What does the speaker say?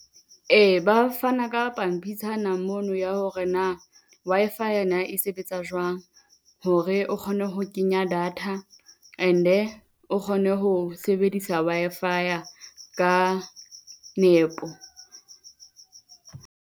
Ee, ba fana ka pampitshana mono ya hore na Wi-Fi-ya na e sebetsa jwang? hore o kgone ho kenya data and-e kgone ho sebedisa Wi-Fi-ya nepo.